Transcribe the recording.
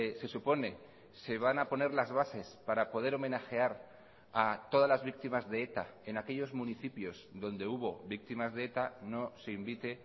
se supone se van a poner las bases para poder homenajear a todas las víctimas de eta en aquellos municipios donde hubo víctimas de eta no se invite